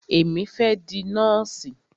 Èmi fẹ́ di nọ́ọ̀sì.